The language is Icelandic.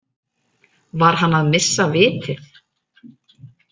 Var hann að missa vitið?